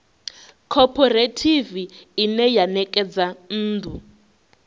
khophorethivi ine ya ṋekedza nnḓu